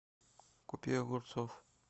купи огурцов